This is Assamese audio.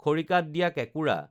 খৰিকাত দিয়া কেঁকুৰা